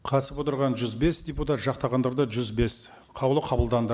қатысып отырған жүз бес депутат жақтағандар да жүз бес қаулы қабылданды